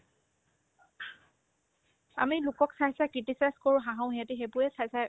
আমি লোকক চাই চাই criticize কৰো হাহো সিহঁতে সেইবোৰে চাই চাই